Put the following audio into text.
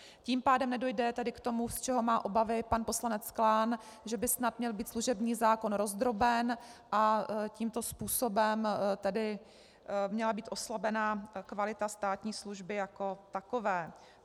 Tím pádem nedojde tedy k tomu, z čeho má obavy pan poslanec Klán, že by snad měl být služební zákon rozdroben a tímto způsobem tedy měla být oslabena kvalita státní služby jako takové.